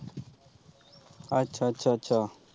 ਅੱਛਾ ਅੱਛਾ ਅੱਛਾ।